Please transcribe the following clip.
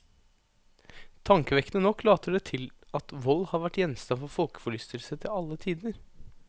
Tankevekkende nok later det til at vold har vært gjenstand for folkeforlystelse til alle tider.